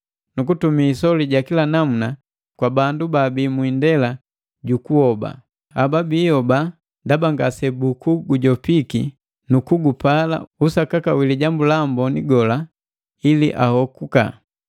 nu kutumi isoli wa kila namuna kwa bandu baabi mu indela ju kuhoba. Haba biihoba ndaba ngase buku gujopiki nuku gupala usakaka wi Lijambu la Amboni gola ili ahokuka.